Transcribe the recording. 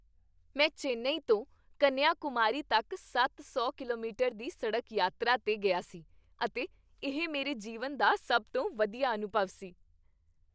ਮੈਂ ਚੇਨੱਈ ਤੋਂ ਕੰਨਿਆਕੁਮਾਰੀ ਤੱਕ ਸੱਤ ਸੌ ਕਿਲੋਮੀਟਰ ਦੀ ਸੜਕ ਯਾਤਰਾ 'ਤੇ ਗਿਆ ਸੀ ਅਤੇ ਇਹ ਮੇਰੇ ਜੀਵਨ ਦਾ ਸਭ ਤੋਂ ਵਧੀਆ ਅਨੁਭਵ ਸੀ